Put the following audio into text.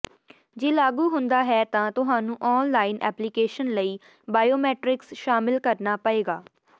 ਜੇ ਲਾਗੂ ਹੁੰਦਾ ਹੈ ਤਾਂ ਤੁਹਾਨੂੰ ਆਨ ਲਾਈਨ ਐਪਲੀਕੇਸ਼ਨ ਲਈ ਬਾਇਓਮੈਟ੍ਰਿਕਸ ਸ਼ਾਮਲ ਕਰਨਾ ਪਏਗਾ